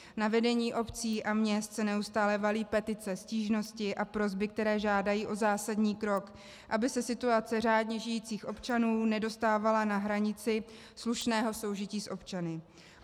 Na vedení obcí a měst se neustále valí petice, stížnosti a prosby, které žádají o zásadní krok, aby se situace řádně žijících občanů nedostávala na hranici slušného soužití s občany.